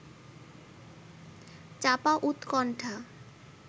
চাপা উৎকণ্ঠা